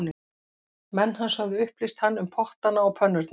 Menn hans höfðu upplýst hann um pottana og pönnurnar